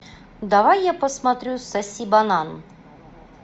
давай я посмотрю соси банан